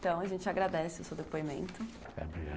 Então, a gente agradece o seu depoimento.